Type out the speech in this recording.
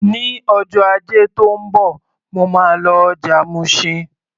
Ní ọjọ́ Ajé tó ń bọ̀, mo máa lọ ọjà Mushin.